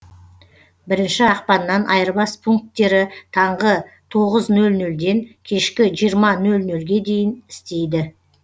бірінші ақпаннан айырбас пункттері таңғы тоғыз нөл нөлден кешкі жиырма нөл нөлге дейін істейді